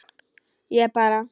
Ég bara.